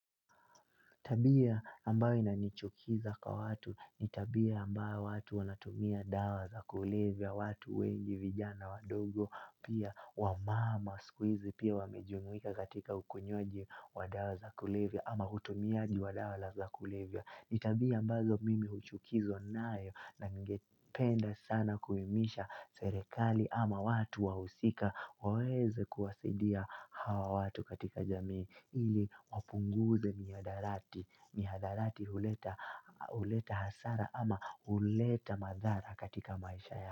Tabia ambayo inanichukiza kwa watu, ni tabia ambayo watu wanatumia dawa za kulivya, watu wengi vijana wa dogo, pia wamama, skuizi, pia wamejuwika katika ukonywaji wa dawa za kulivya, ama hutumiaji wa dawa za kulivya. Nitabia ambazo mimi uchukizo nae naningependa sana kuimisha serekali ama watu wausika waweze kuwasidia hawa watu katika jamii ili wapunguze miadarati, miadarati huleta hasara ama huleta madhara katika maisha ya.